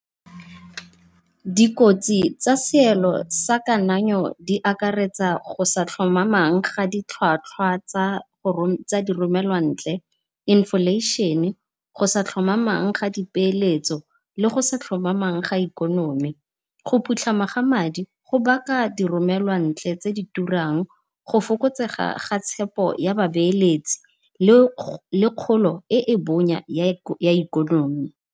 Dikotsi tsa seelo sa kanayo di akaretsa go sa tlhomamang ga di tlhwatlhwa tsa di romelwa ntle inflation-e, go sa tlhomamang ga di peeletso, le go sa tlhomamang ga ikonomi. Go phutlhama ga madi go baka di romelwa ntle tse di turang go fokotsega ga tshepo ya ba beeletsi le kgolo e e bonya ya ikonomi